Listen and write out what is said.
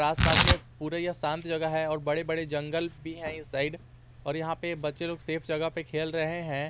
आसपास में पूरे यह शांत जगह है और बड़े बड़े जंगल भी है इस साइड और यहां पर बच्चे लोग सेफ जगह पे खेल रहे हैं।